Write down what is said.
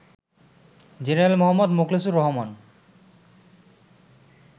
General মো. মোখলেসুর রহমান